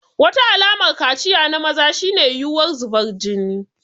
Wata alamar kaciya na maza shine yiwuwar zubar jini.